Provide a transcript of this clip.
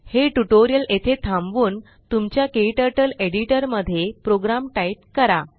हे ट्यूटोरियल येथे थांबवून तुमच्या क्टर्टल एडिटर मध्ये प्रोग्राम टाइप करा